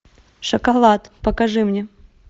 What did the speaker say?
шоколад покажи мне